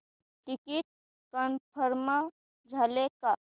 ticket confirm झाले का